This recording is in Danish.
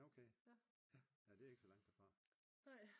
Nå okay. Ja det er ikke så langt derfra